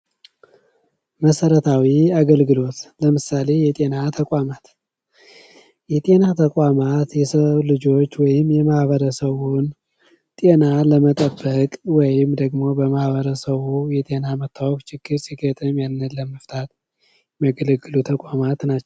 መሰረታዊ አገልግሎቶ ለምሳሌ የጤና ተቋማት:- የጤና ተቋማት የሰዉ ልጆች ወይም የማህበረሰቡን ጤና ለመጠበቅ ወይም ደግሞ በማህበረሰቡ የጤና ችግር ሲገጥም ያንን ለመፍታት የሚያገለግሉ ተቋማት ናቸዉ።